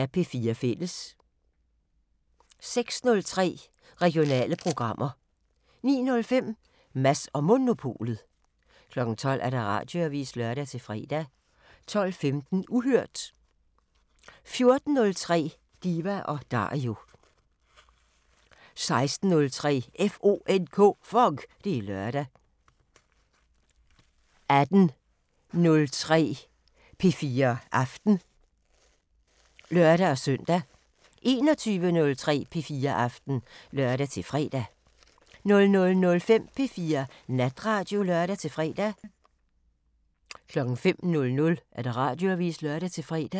06:03: Regionale programmer 09:05: Mads & Monopolet 12:00: Radioavisen (lør-fre) 12:15: Uhørt 14:03: Diva & Dario 16:03: FONK! Det er lørdag 18:03: P4 Aften (lør-søn) 21:03: P4 Aften (lør-fre) 00:05: P4 Natradio (lør-fre) 05:00: Radioavisen (lør-fre)